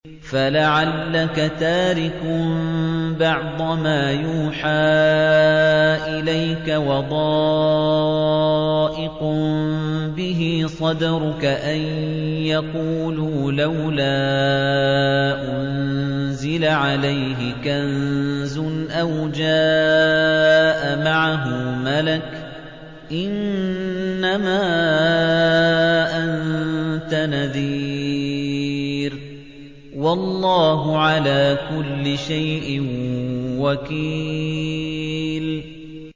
فَلَعَلَّكَ تَارِكٌ بَعْضَ مَا يُوحَىٰ إِلَيْكَ وَضَائِقٌ بِهِ صَدْرُكَ أَن يَقُولُوا لَوْلَا أُنزِلَ عَلَيْهِ كَنزٌ أَوْ جَاءَ مَعَهُ مَلَكٌ ۚ إِنَّمَا أَنتَ نَذِيرٌ ۚ وَاللَّهُ عَلَىٰ كُلِّ شَيْءٍ وَكِيلٌ